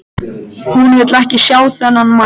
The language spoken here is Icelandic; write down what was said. Hún vill ekki sjá þennan mann.